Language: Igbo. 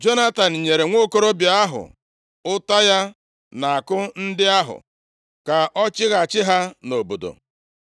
Jonatan nyere nwokorobịa ahụ ụta ya na àkụ ndị ahụ ka ọ chighachi ha nʼobodo.